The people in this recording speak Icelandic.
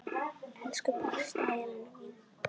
Elsku besta Helena mín.